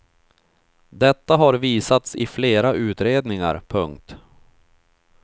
Detta har visats i flera utredningar. punkt